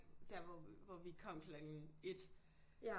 Der hvor vi hvor vi kom klokken 1